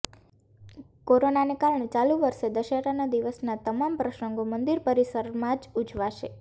કોરોનાને કારણે ચાલુ વર્ષે દશેરાના દિવસના તમામ પ્રસંગો મંદિર પરિસરમાં જ ઉજવાશે